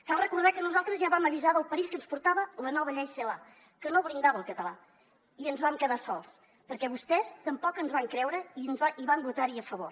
cal recordar que nosaltres ja vam avisar del perill que ens portava la nova llei celaá que no blindava el català i ens vam quedar sols perquè vostès tampoc ens van creure i van votar hi a favor